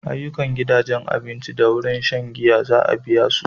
Ayyukan da gidajen abinci da wuraren shan giya za a biya su.